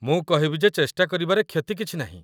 ମୁଁ କହିବି ଯେ ଚେଷ୍ଟା କରିବାରେ କ୍ଷତି କିଛି ନାହିଁ।